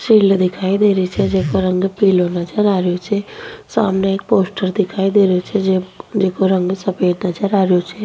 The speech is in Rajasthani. दिखाई दे रही छे जिकाे रंग पिलो नजर आ रियो छे सामने एक पोस्टर दिखाई दे रहियो छे जिको रंग सफेद नजर आ रहियो छे।